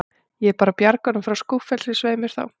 Ég er bara að bjarga honum frá skúffelsi, svei mér þá.